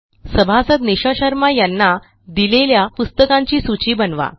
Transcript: सभासद निशा शर्मा यांना दिलेल्या पुस्तकांची सूची बनवा